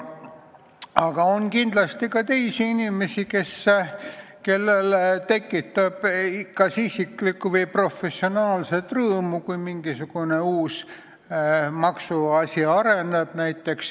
Aga on kindlasti ka teisi inimesi, kellele tekitab kas isiklikku või professionaalset rõõmu, kui näiteks mingisugune uus maksuasi areneb.